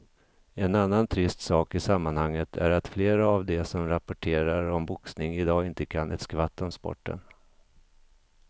En annan trist sak i sammanhanget är att flera av de som rapporterar om boxning i dag inte kan ett skvatt om sporten.